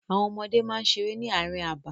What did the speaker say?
Àwọn ọmọdé máa ń seré ní àárín abà.